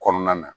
Kɔnɔna na